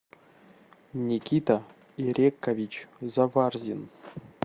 никита ирекович заварзин